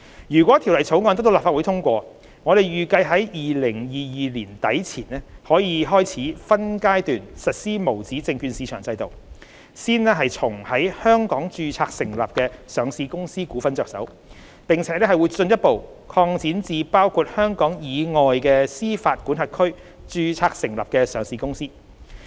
若《條例草案》得到立法會通過，我們預計在2022年年底前開始分階段實施無紙證券市場制度，先從在香港註冊成立的上市公司股份着手，並會進一步擴展至包括香港以外的司法管轄區註冊成立的上市公司。